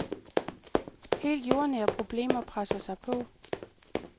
Helt jordnære problemer presser sig på.